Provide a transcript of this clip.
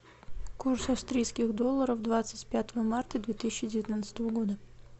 курс австрийских долларов двадцать пятого марта две тысячи девятнадцатого года